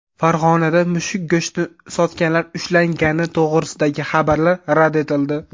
Farg‘onada mushuk go‘shtini sotganlar ushlangani to‘g‘risidagi xabarlar rad etildi.